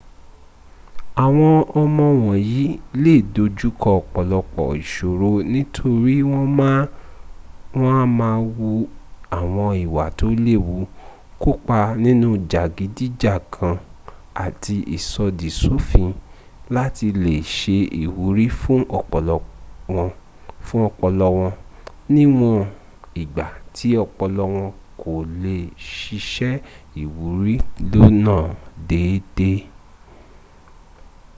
àwọn ọmọ wọ̀nyí le dojúkọ ọ̀pọ̀lọpọ̀ ìsòro nítorí wọn a máà wu àwọn ìwà tó léwu kópa nínú jàgídíjàkan àti ìsọ̀dì sòfin láti lè se ìwúrí fún ọpọlọ wọn níwọn ìgbà tí ọpọlọ wọn kò lè sisẹ́ ìwúrí lónà déédéé